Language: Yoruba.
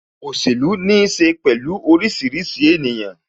Òṣèlú ní ṣe pẹ̀lú orísìírísìí ènìyàn